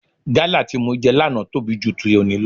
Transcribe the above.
Gálà tí mo jẹ lánàá tóbi ju ti òní lọ.